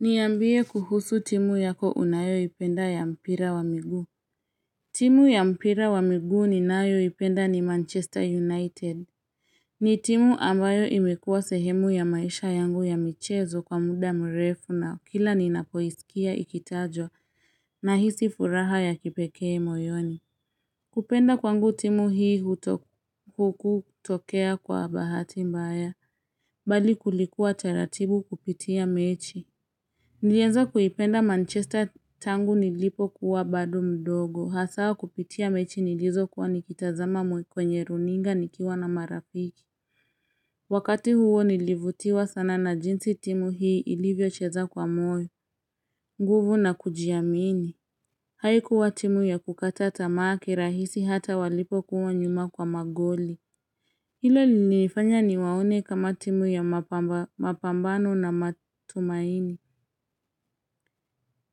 Niambie kuhusu timu yako unayo ipenda ya mpira wa miguu timu ya mpira wa miguu ni nayo ipenda ni manchester united ni timu ambayo imekuwa sehemu ya maisha yangu ya michezo kwa muda mrefu na kila ninapo isikia ikitajwa na hisi furaha ya kipekee moyoni kupenda kwangu timu hii kutokea kwa bahati mbaya bali kulikuwa taratibu kupitia mechi Nilianza kuipenda Manchester tangu nilipo kuwa bado mdogo, hasa kupitia mechi nilizo kuwa nikitazama mwe kwenye runinga nikiwa na marafiki. Wakati huo nilivutiwa sana na jinsi timu hii ilivyo cheza kwa moyo, nguvu na kujiamini. Haikuwa timu ya kukata tamaa ki rahisi hata walipo kuwa nyuma kwa magoli. Hilo lilinifanya niwaone kama timu ya mapambano na matumaini.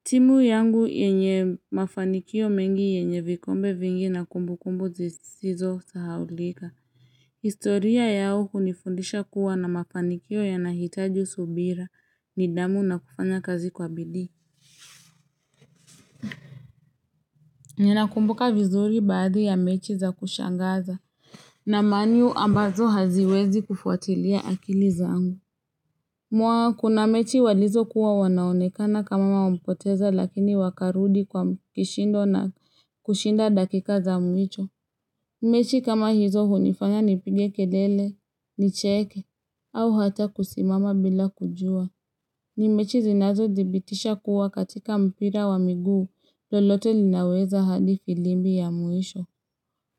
Timu yangu yenye mafanikio mengi yenye vikombe vingi na kumbu kumbu zisizo sahaulika. Historia yao hunifundisha kuwa na mafanikio yanahitaji subira ni dhamu na kufanya kazi kwa bidii. Ninakumbuka vizuri baadhi ya mechi za kushangaza na man u ambazo haziwezi kufuatilia akili zangu. Mwa kuna mechi walizo kuwa wanaonekana kama wamepoteza lakini wakarudi kwa mkishindo na kushinda dakika za mwicho. Mechi kama hizo hunifanya nipige kelele, nicheke, au hata kusimama bila kujua. Nimechi zinazo dhibitisha kuwa katika mpira wa miguu lolote linaweza hadi filimbi ya mwisho.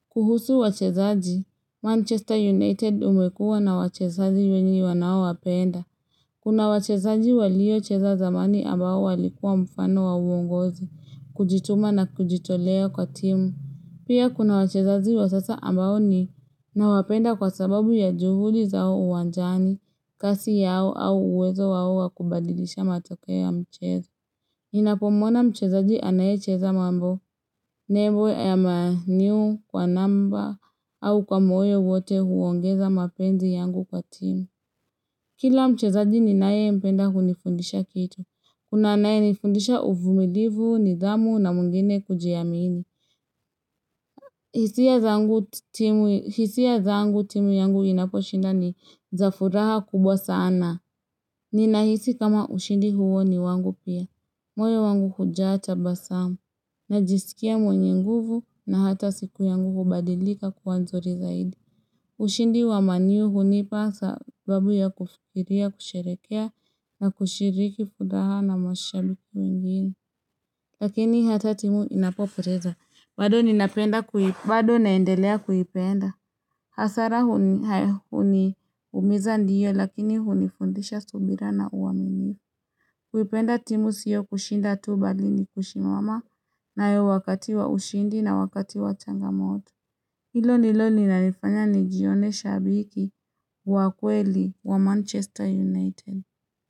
Kuhusu wachezaji, Manchester United imekuwa na wachezaji wenye wanaowapenda. Kuna wachezaji walio cheza zamani ambao walikuwa mfano wa uongozi, kujituma na kujitolea kwa timu. Pia kuna wachezaji wa sasa ambao ni na wapenda kwa sababu ya juhudi zao uwanjani, kasi yao au uwezo wao wakubadilisha matokeo ya mchezo. Ninapomuona mchezaji anaye cheza mambo, nebo ya man u kwa namba au kwa moyo wote huongeza mapenzi yangu kwa timu. Kila mchezaji ninaye mpenda hunifundisha kitu. Kuna anaye nifundisha uvumilivu, nidhamu na mwingine kujiamini. Hisia zangu timu yangu inaposhinda ni za furaha kubwa sana. Ninahisi kama ushindi huo ni wangu pia. Moyo wangu hujaa ta basamu. Najisikia mwenye nguvu na hata siku yangu hubadilika kuwa nzuri zaidi. Ushindi wa man u hunipa sababu ya kufikiria, kusherehekea na kushiriki furaha na mashabiki wengine. Lakini hata timu inapopoteza. Bado ninapenda kuhi bado naendelea kuhipenda. Hasara huni umiza ndiyo lakini hunifundisha subira na uwamini. Kuipenda timu sio kushinda tu bali ni kusimama nayo wakati wa ushindi na wakati wa changamoto. Hilo nilo linanifanya nijione shabiki wa kweli wa Manchester United.